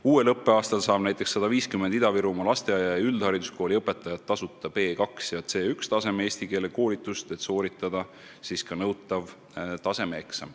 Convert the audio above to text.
Uuel õppeaastal saab näiteks 150 Ida-Virumaa lasteaia- ja üldhariduskooli õpetajat tasuta B2 ja C1 taseme eesti keele koolitust, et sooritada ka nõutav tasemeeksam.